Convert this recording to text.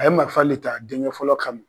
A ye marifa le ta a denkɛ fɔlɔ kama.